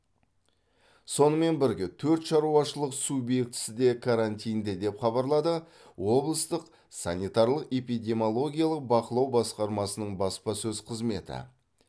сонымен бірге төрт шаруашылық субъектісі де карантинде деп хабарлады облыстық санитарлық эпидемиологиялық бақылау басқармасының баспасөз қызметі